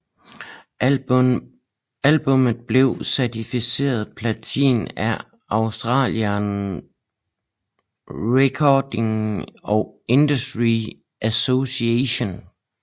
Albummet blev certificeret platin af Australian Recording Industry Association